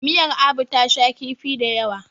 miyar Abu ta sha kifi da yawa